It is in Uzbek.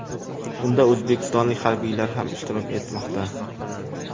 Unda o‘zbekistonlik harbiylar ham ishtirok etmoqda.